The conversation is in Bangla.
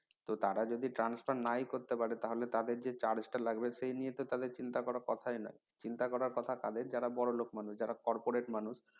তো তারা যদি transfer নাই করতে পারে তাহলে তাদের যে charge তা লাগবে সেই নিয়ে তো তাদের চিন্তা করার কথাই না চিন্তা করার কথা কাদের যারা বড়লোক মানুষ যারা corporate মানুষ